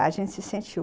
A gente se sente u